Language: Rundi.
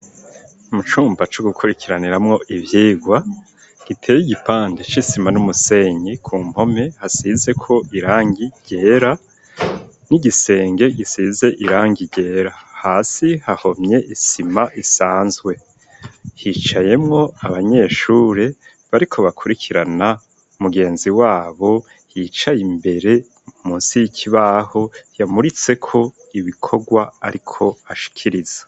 Mu cumba co gukurikiraniramwo ivyigwa giteye igipandi c'isima n'umusenyi ku mpome hasize ko irangi ryera n'igisenge gisize irangi ryera hasi hahomye isima isanzwe hicayemwo abanyeshure bariko bakurikirana umugenzi wabo yicaye imbere musi y'ikibaho yamuritseko ibikorwa, ariko ashikiriza.